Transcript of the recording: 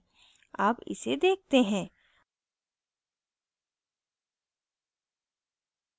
अब इसे देखते हैं